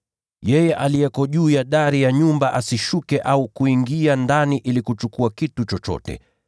Yeyote aliye juu ya dari ya nyumba asishuke au kuingia ndani ili kuchukua chochote.